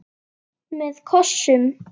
Með kossum.